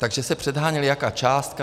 Takže se předháněli, jaká částka.